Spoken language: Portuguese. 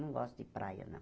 Não gosto de praia, não.